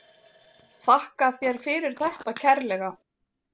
Þakka þér fyrir þetta kærlega.